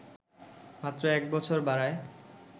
মাত্র ১ বছর বাড়ায়